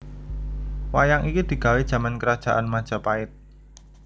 Wayang iki digawè jaman krajaan Majapait